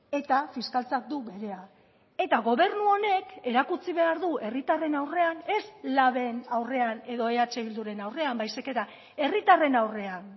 eta fiskaltzak du berea eta gobernu honek erakutsi behar du herritarren aurrean ez laben aurrean edo eh bilduren aurrean baizik eta herritarren aurrean